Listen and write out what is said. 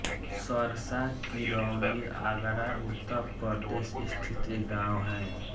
सरसा किरौली आगरा उत्तर प्रदेश स्थित एक गाँव है